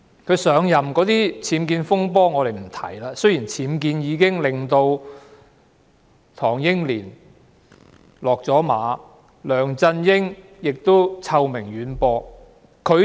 她上任前的僭建風波，我們暫且不說，但其實僭建曾令唐英年"落馬"，並令梁振英臭名遠播。